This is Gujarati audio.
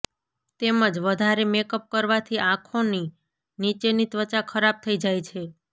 તેમજ વધારે મેકઅપ કરવાથી આંખોની નીચેની ત્વચા ખરાબ થઇ જાય છે